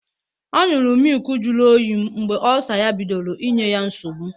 Ọ ñyuru mịlki jiri oyii mgbe Ọlsa ya bidoro inye ya nsọgbu.